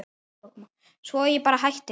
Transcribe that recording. Svo að ég bara hætti.